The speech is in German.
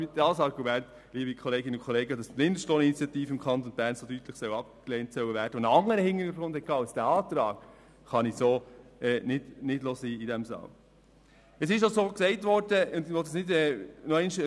Dieses Argument, liebe Kolleginnen und Kollegen, wonach die Mindestlohninitiative, die einen andern Hintergrund hatte als dieser Antrag hier, im Kanton Bern so deutlich abgelehnt worden sei, kann ich hier nicht stehen lassen.